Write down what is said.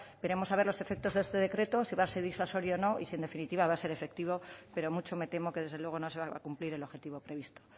veremos a ver los efectos de este decreto si va a ser disuasorio o no y si en definitiva va a ser efectivo pero mucho me temo que desde luego no se va a cumplir el objetivo previsto